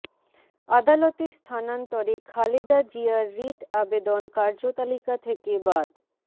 আদালত স্থানান্তরে খালেদা জিয়ার রিট আবেদন কার্যতালিকা থেকে বাদ